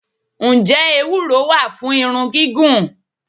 Ǹjẹ́ Ewúro wá fún irun gígùn?